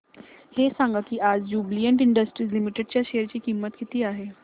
हे सांगा की आज ज्युबीलेंट इंडस्ट्रीज लिमिटेड च्या शेअर ची किंमत किती आहे